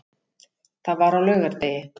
Það var á laugardegi.